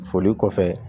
Foli kɔfɛ